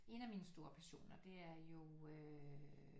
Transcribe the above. En af mine store passioner det er jo